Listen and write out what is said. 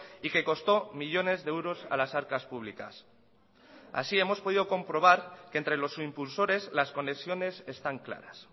y que costó millónes de euros a las arcas públicas así hemos podido comprobar que entre los impulsores las conexiones están claras